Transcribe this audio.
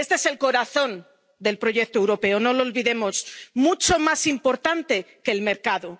Este es el corazón del proyecto europeo —no lo olvidemos—, mucho más importante que el mercado.